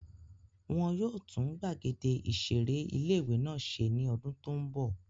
Wọ́n yóò tún gbàgede ìseré ilé-ìwé náà ṣe ní ọdún tó n bọ̀